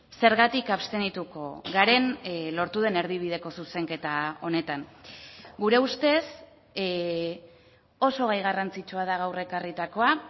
zergatik abstenituko garen lortu den erdibideko zuzenketa honetan gure ustez oso gai garrantzitsua da gaur ekarritakoa